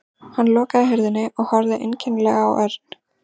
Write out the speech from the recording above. Hann lokaði hurðinni og horfði einkennilega á Örn.